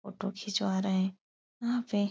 Photo खिचवा रहे। यहाँ पे --